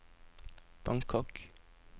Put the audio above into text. Bangkok